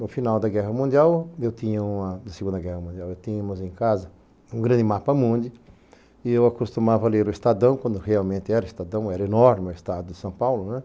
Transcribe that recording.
No final da Guerra Mundial, eu tinha uma, da Segunda Guerra Mundial, eu tinhamos em casa, um grande mapa-múndi, e eu acostumava a ler o Estadão, quando realmente era Estadão, era enorme o Estado de São Paulo, né?